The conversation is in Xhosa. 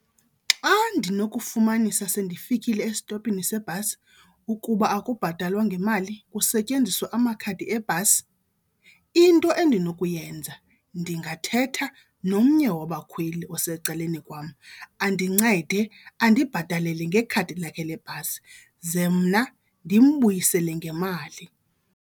Xa ndinokufumanisa sendifikile esitophini seebhasi ukuba akubhatalwa ngemali kusetyenziswa amakhadi ebhasi, into endinokuyenza ndingathetha nomnye wabakhweli osecaleni kwam andincede andibhatalele ngekhadi lakhe lebhasi ze mna ndimbuyisele ngemali.